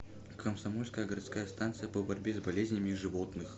комсомольская городская станция по борьбе с болезнями животных